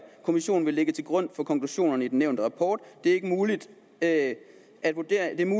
kommissionen vil lægge til grund for konklusionerne i den nævnte rapport det er muligt at vurderingen